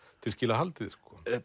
til skila haldið